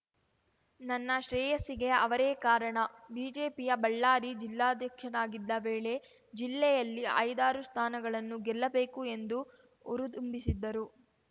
ನನ್ನ ಶ್ರೇಯಸ್ಸಿಗೆ ಅವರೇ ಕಾರಣ ಬಿಜೆಪಿಯ ಬಳ್ಳಾರಿ ಜಿಲ್ಲಾಧ್ಯಕ್ಷನಾಗಿದ್ದ ವೇಳೆ ಜಿಲ್ಲೆಯಲ್ಲಿ ಐದಾರು ಸ್ಥಾನಗಳನ್ನು ಗೆಲ್ಲಬೇಕು ಎಂದು ಹುರಿದುಂಬಿಸಿದ್ದರು